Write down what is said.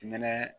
Nɛnɛ